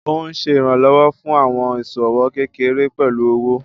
Ó ń Ṣe ìrànlọ́wọ́ fún àwọn ìṣòwò kékeré pẹ̀lú owó.